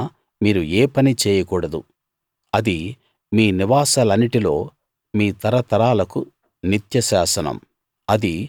ఆ రోజున మీరు ఏ పనీ చేయకూడదు అది మీ నివాసాలన్నిటిలో మీ తరతరాలకు నిత్య శాసనం